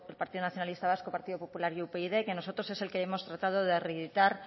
partido nacionalista vasco partido popular y upyd que nosotros es el que hemos tratado de reeditar